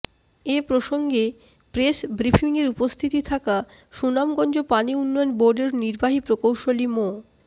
এ প্রসঙ্গে প্রেস ব্রিফিংয়ে উপস্থিত থাকা সুনামগঞ্জ পানি উন্নয়ন বোর্ডের নির্বাহী প্রকৌশলী মো